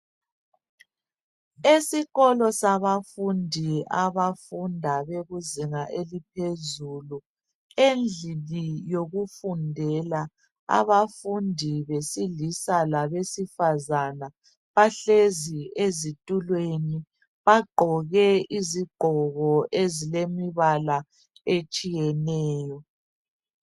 Esikolo sabafundi abafunda bekuzinga eliphezulu endlini yokufundela abafundi besilisa labesifazana bahlezi ezitulweni bagqoke izigqoko ezilembala etshiyeneyo.